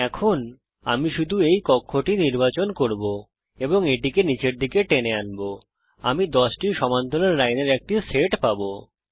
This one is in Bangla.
এখন আমি শুধু এই কক্ষটি নির্বাচন করব এবং এটিকে নিচের দিকে টেনে আনব আমি 10 টি সমান্তরাল লাইনের একটি সেট পাবো